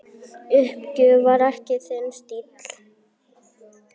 Uppgjöf var ekki þinn stíll.